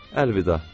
Əlvida.